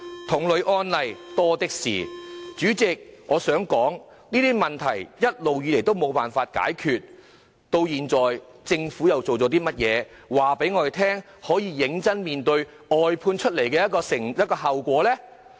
代理主席，這些問題一直無法解決，現時政府又做了些甚麼，可以顯示它會認真面對外判衍生的後果呢？